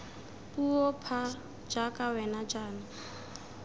puo pha jaaka wena jaana